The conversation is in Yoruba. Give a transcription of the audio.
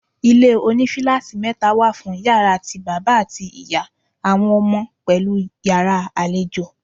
Ilé oní fíláátì mẹ́ta wà fún Ìyàrá ti bàbá àti ìyá, àwọn ọmọ, pẹ̀lú Ìyàrá àlejò.